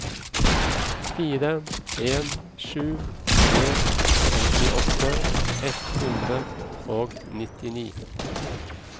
fire en sju tre femtiåtte ett hundre og nittini